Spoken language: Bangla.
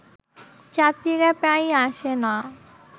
যাত্রীরা প্রায়ই আসে না